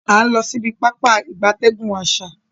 A n lo sibi Pápá ìgbatẹ́gùn asa.